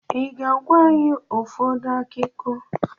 I ga-agwa anyị ụfọdụ ákíkó